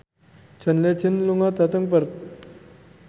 John Legend lunga dhateng Perth